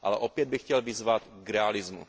Ale opět bych chtěl vyzvat k realismu.